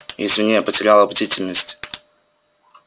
извини я потеряла бдительность